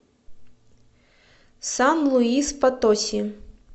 сан луис потоси